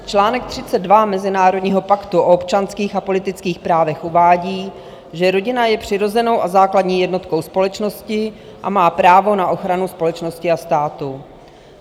Článek 32 Mezinárodního paktu o občanských a politických právech uvádí, že rodina je přirozenou a základní jednotkou společnosti a má právo na ochranu společnosti a státu.